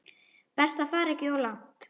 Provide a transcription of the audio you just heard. Best að fara ekki of langt.